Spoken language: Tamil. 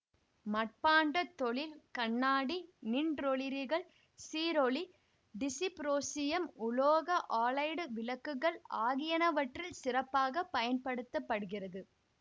மட்பாண்டத்தொழில் கண்ணாடி நின்றொளிரிகள் சீரொளி டிசிப்ரோசியம் உலோக ஆலைடு விளக்குகள் ஆகியனவற்றில் சிறப்பாக பயன்படுத்த படுகிறது